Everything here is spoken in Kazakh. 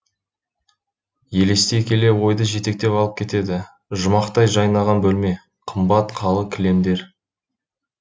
елестей келе ойды жетектеп алып кетеді жұмақтай жайнаған бөлме қымбат қалы кілемдер